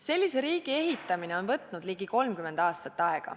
Sellise riigi ehitamine on aega võtnud ligi 30 aastat.